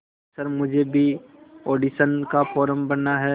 sir मुझे भी audition का फॉर्म भरना है